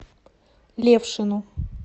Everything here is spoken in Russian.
левшину